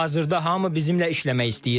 Hazırda hamı bizimlə işləmək istəyir.